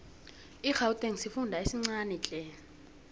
igauteng sifunda esincanitle